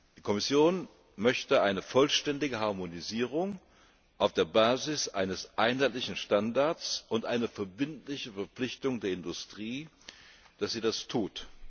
Die Kommission möchte eine vollständige Harmonisierung auf der Basis eines einheitlichen Standards und eine verbindliche Verpflichtung der Industrie, dass sie das tut.